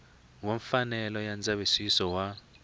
wa mfanelo ya ndzavisiso wa